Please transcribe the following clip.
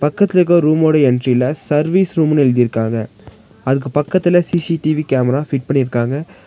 பக்கத்துல இருக்க ஒரு ரூமோட என்ட்ரில சர்விஸ் ருமுன்னு எழுதிருக்காங்க. அதுக்கு பக்கத்துல சி_சி_டி_வி கேமரா ஃபிட் பண்ணிருக்காங்க.